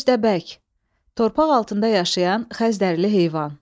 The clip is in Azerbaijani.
Köstəbək, torpaq altında yaşayan xəzdərli heyvan.